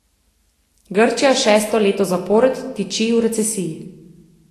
Grčija šesto leto zapored tiči v recesiji.